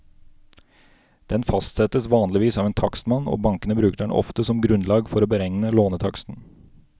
Den fastsettes vanligvis av en takstmann, og bankene bruker den ofte som grunnlag for å beregne lånetaksten.